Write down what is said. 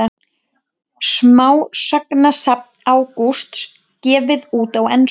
Smásagnasafn Ágústs gefið út á ensku